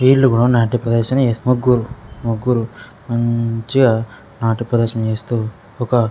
వీళ్ళు ఎప్పుడు నాట్య ప్రదర్శన చేస్తూ ముగ్గు-- ముగ్గురు మంచిగా నాట్య ప్రదర్శన చేస్తూ ఒక --